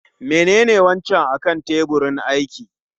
Menene wancan akan tebirin aiki?